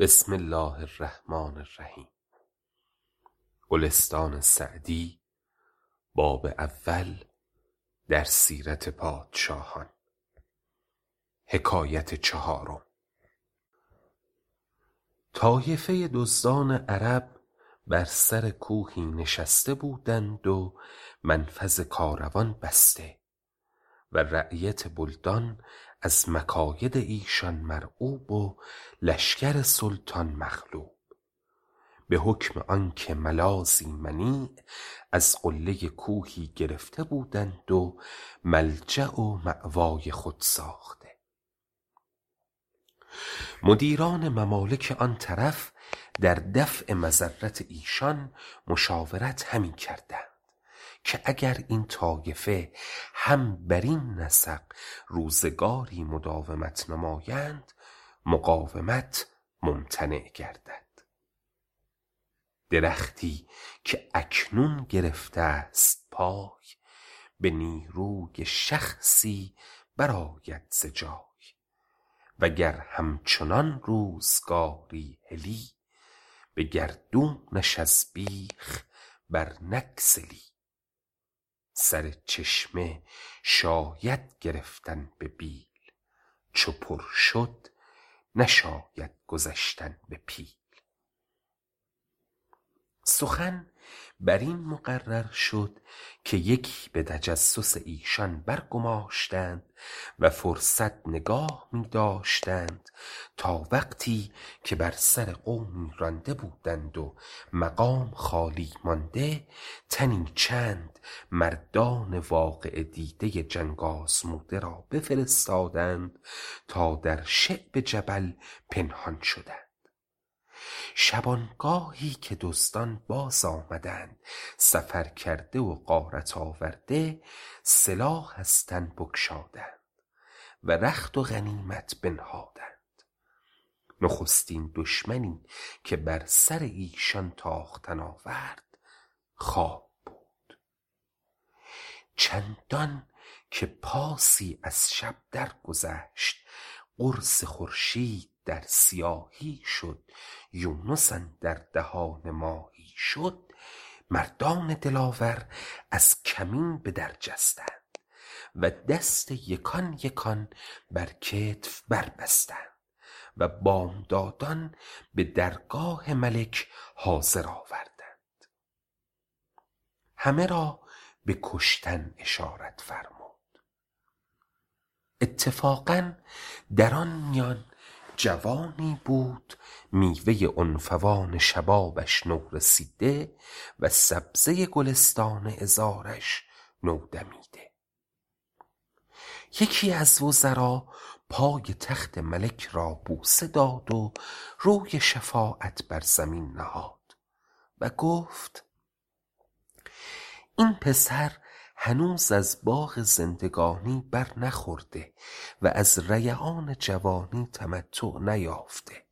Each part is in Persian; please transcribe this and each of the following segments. طایفه دزدان عرب بر سر کوهی نشسته بودند و منفذ کاروان بسته و رعیت بلدان از مکاید ایشان مرعوب و لشکر سلطان مغلوب به حکم آنکه ملاذی منیع از قله کوهی گرفته بودند و ملجأ و مأوای خود ساخته مدبران ممالک آن طرف در دفع مضرت ایشان مشاورت همی کردند که اگر این طایفه هم برین نسق روزگاری مداومت نمایند مقاومت ممتنع گردد درختی که اکنون گرفته ست پای به نیروی شخصی برآید ز جای و گر همچنان روزگاری هلی به گردونش از بیخ بر نگسلی سر چشمه شاید گرفتن به بیل چو پر شد نشاید گذشتن به پیل سخن بر این مقرر شد که یکی به تجسس ایشان برگماشتند و فرصت نگاه می داشتند تا وقتی که بر سر قومی رانده بودند و مقام خالی مانده تنی چند مردان واقعه دیده جنگ آزموده را بفرستادند تا در شعب جبل پنهان شدند شبانگاهی که دزدان باز آمدند سفرکرده و غارت آورده سلاح از تن بگشادند و رخت و غنیمت بنهادند نخستین دشمنی که بر سر ایشان تاختن آورد خواب بود چندان که پاسی از شب در گذشت قرص خورشید در سیاهی شد یونس اندر دهان ماهی شد مردان دلاور از کمین به در جستند و دست یکان یکان بر کتف بستند و بامدادان به درگاه ملک حاضر آوردند همه را به کشتن اشارت فرمود اتفاقا در آن میان جوانی بود میوه عنفوان شبابش نورسیده و سبزه گلستان عذارش نودمیده یکی از وزرا پای تخت ملک را بوسه داد و روی شفاعت بر زمین نهاد و گفت این پسر هنوز از باغ زندگانی بر نخورده و از ریعان جوانی تمتع نیافته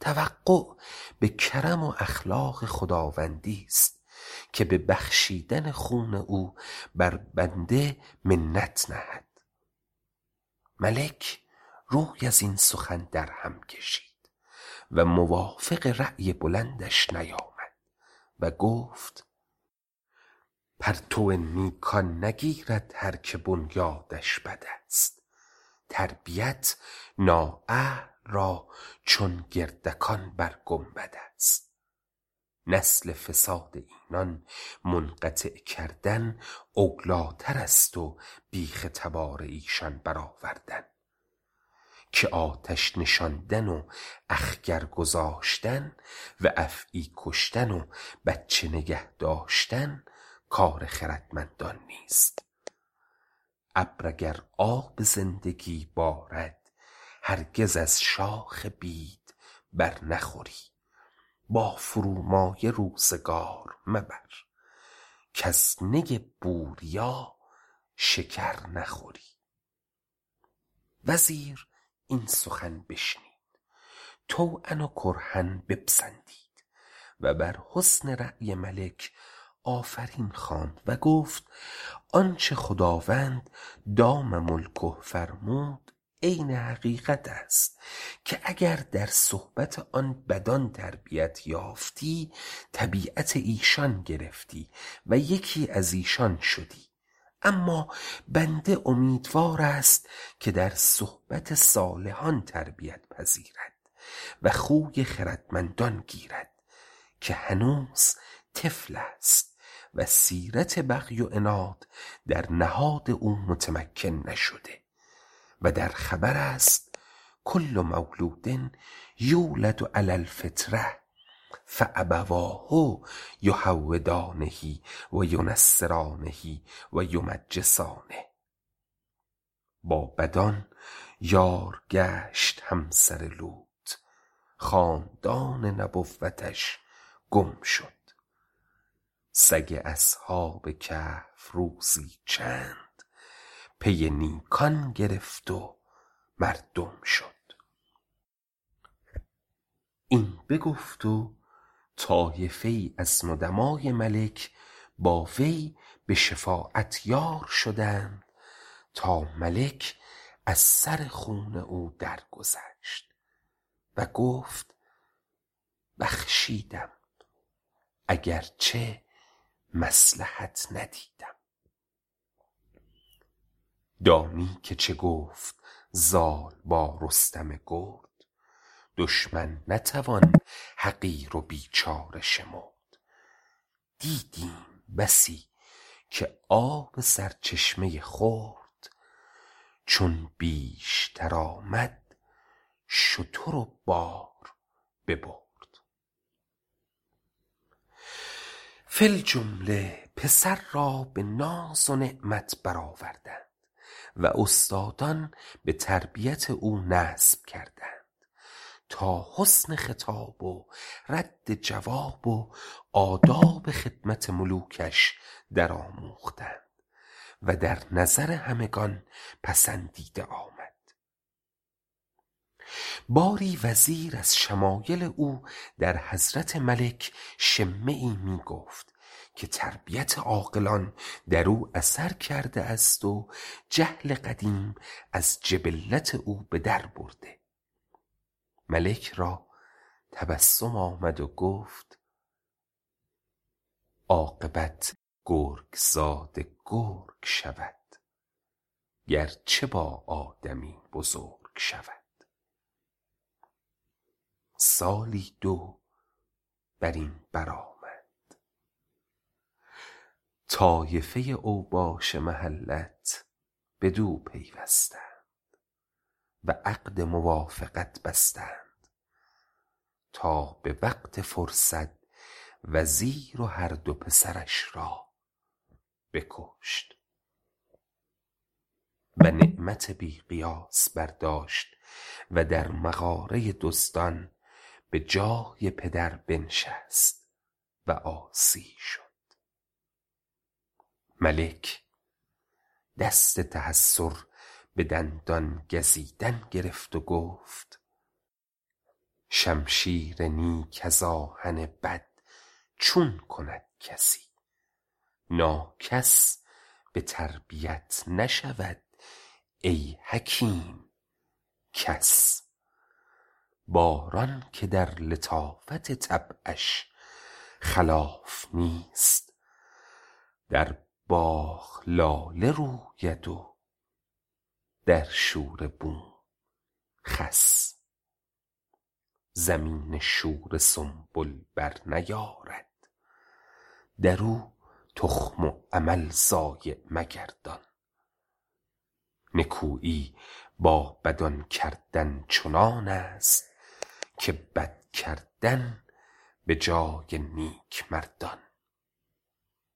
توقع به کرم و اخلاق خداوندی ست که به بخشیدن خون او بر بنده منت نهد ملک روی از این سخن در هم کشید و موافق رای بلندش نیامد و گفت پرتو نیکان نگیرد هر که بنیادش بد است تربیت نااهل را چون گردکان بر گنبد است نسل فساد اینان منقطع کردن اولی تر است و بیخ تبار ایشان بر آوردن که آتش نشاندن و اخگر گذاشتن و افعی کشتن و بچه نگه داشتن کار خردمندان نیست ابر اگر آب زندگی بارد هرگز از شاخ بید بر نخوری با فرومایه روزگار مبر کز نی بوریا شکر نخوری وزیر این سخن بشنید طوعا و کرها بپسندید و بر حسن رای ملک آفرین خواند و گفت آنچه خداوند دام ملکه فرمود عین حقیقت است که اگر در صحبت آن بدان تربیت یافتی طبیعت ایشان گرفتی و یکی از ایشان شدی اما بنده امیدوار است که در صحبت صالحان تربیت پذیرد و خوی خردمندان گیرد که هنوز طفل است و سیرت بغی و عناد در نهاد او متمکن نشده و در خبر است کل مولود یولد علی الفطرة فأبواه یهودانه و ینصرانه و یمجسانه با بدان یار گشت همسر لوط خاندان نبوتش گم شد سگ اصحاب کهف روزی چند پی نیکان گرفت و مردم شد این بگفت و طایفه ای از ندمای ملک با وی به شفاعت یار شدند تا ملک از سر خون او درگذشت و گفت بخشیدم اگرچه مصلحت ندیدم دانی که چه گفت زال با رستم گرد دشمن نتوان حقیر و بیچاره شمرد دیدیم بسی که آب سرچشمه خرد چون بیشتر آمد شتر و بار ببرد فی الجمله پسر را به ناز و نعمت بر آوردند و استادان به تربیت او نصب کردند تا حسن خطاب و رد جواب و آداب خدمت ملوکش در آموختند و در نظر همگنان پسندیده آمد باری وزیر از شمایل او در حضرت ملک شمه ای می گفت که تربیت عاقلان در او اثر کرده است و جهل قدیم از جبلت او به در برده ملک را تبسم آمد و گفت عاقبت گرگ زاده گرگ شود گرچه با آدمی بزرگ شود سالی دو بر این بر آمد طایفه اوباش محلت بدو پیوستند و عقد موافقت بستند تا به وقت فرصت وزیر و هر دو پسرش را بکشت و نعمت بی قیاس برداشت و در مغاره دزدان به جای پدر بنشست و عاصی شد ملک دست تحیر به دندان گزیدن گرفت و گفت شمشیر نیک از آهن بد چون کند کسی ناکس به تربیت نشود ای حکیم کس باران که در لطافت طبعش خلاف نیست در باغ لاله روید و در شوره بوم خس زمین شوره سنبل بر نیارد در او تخم و عمل ضایع مگردان نکویی با بدان کردن چنان است که بد کردن به جای نیک مردان